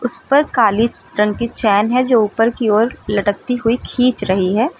ऊपर काली रंग की चैन है जो ऊपर की ओर लटकती हुई खींच रही है।